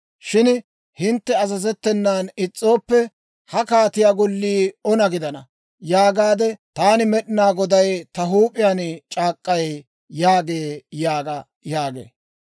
Shin hintte azazettenan is's'ooppe, ha kaatiyaa Gollii ona gidana yaagaade taani Med'inaa Goday ta huup'iyaan c'aak'k'ay» yaagee› yaaga» yaagee.